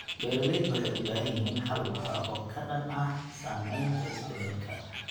Beeraleydu waxay u baahan yihiin xal waara oo ka dhan ah saamaynta isbeddelka cimilada.